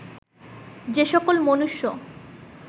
যে সকল মনুষ্য